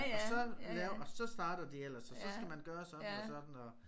Og så laver og så starter de ellers og så skal man gøre sådan og sådan og